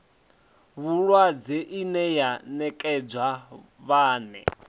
vhulwadze ine ya nekedzwa vhane